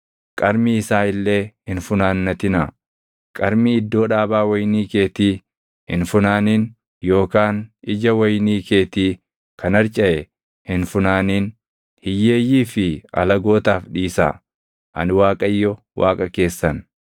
Qarmii iddoo dhaabaa wayinii keetii hin funaanin yookaan ija wayinii keetii kan harcaʼe hin funaanin. Hiyyeeyyii fi alagootaaf dhiisaa. Ani Waaqayyo Waaqa keessan.